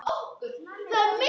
Ég ætlaði mér aldrei að.